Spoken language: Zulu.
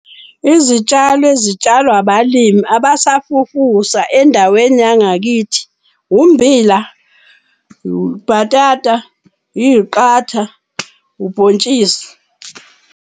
Izitshalo ezitshalwa abalimi abasafufusa endaweni yangakithi ummbila, ubhatata, iy'qatha, ubhontshisi.